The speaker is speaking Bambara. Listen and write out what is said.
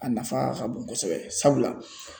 A nafa ka bon kosɛbɛ sabula